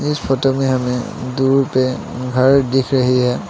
इस फोटो में हमें दूर पे घर दिख रही है।